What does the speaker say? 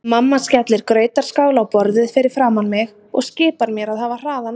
Mamma skellir grautarskál á borðið fyrir framan mig og skipar mér að hafa hraðan á.